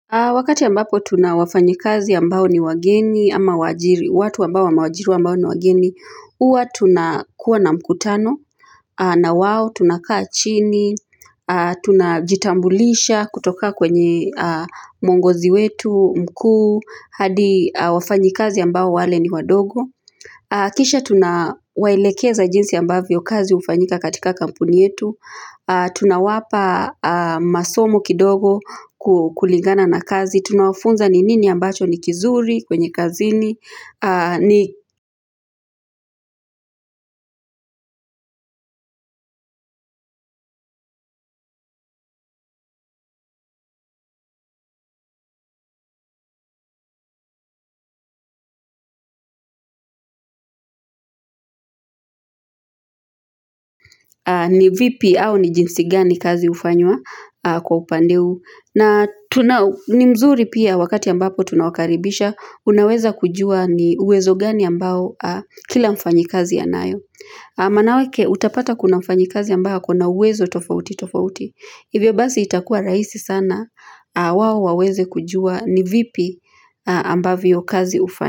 Wakati ambapo tuna wafanyikazi ambao ni wageni ama waajiri, watu ambao wameajiriw ambao ni wageni, huwa tunakuwa na mkutano, na wao tunakaa chini, tunajitambulisha kutoka kwenye mwongozi wetu, mkuu, hadi wafanyikazi ambao wale ni wadogo. Kisha tunawaelekeza jinsi ambavyo kazi hufanyika katika kampuni yetu. Tunawapa masomo kidogo kulingana na kazi. Tunawafunza ni nini ambacho ni kizuri kwenye kazini. Ni vipi au ni jinsi gani kazi hufanywa kwa upande huu ni mzuri pia wakati ambapo tunawakaribisha. Unaweza kujua ni uwezo gani ambao kila mfanyikazi anayo. Maanake utapata kuna mfanyikazi ambaye akona uwezo tofauti tofauti. Hivyo basi itakuwa rahisi sana. Wao waweze kujua ni vipi ambavyo kazi hufanywa.